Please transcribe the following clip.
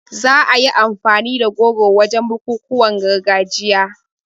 Za a yi amfani da goro wajen bukukuwan gargajiya